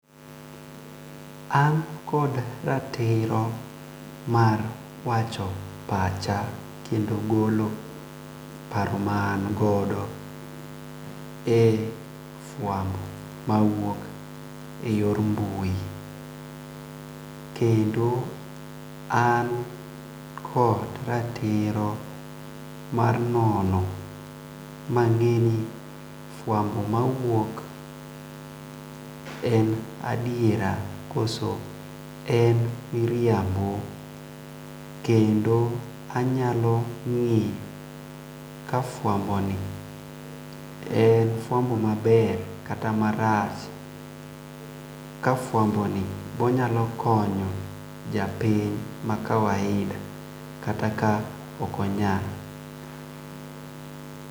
An kod ratiro mar wacho pacha kendo golo paro ma an godo e fwambo mawuok e yor mbui. Kendo an kod ratiro mar nono ma ng'e ni fwambo mawuok en adiera koso en miriambo kendo anyalo ng'eyo kafwambo ni en fwambo maber kata marach . Ka fwambo ni onyalo konyo japiny ma kawaida kata ka ok onyal.